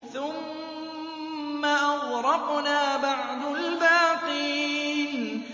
ثُمَّ أَغْرَقْنَا بَعْدُ الْبَاقِينَ